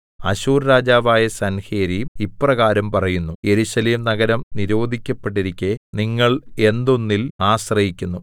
അശ്ശൂർ രാജാവായ സൻഹേരീബ് ഇപ്രകാരം പറയുന്നു യെരൂശലേം നഗരം നിരോധിക്കപ്പെട്ടിരിക്കെ നിങ്ങൾ എന്തൊന്നിൽ ആശ്രയിക്കുന്നു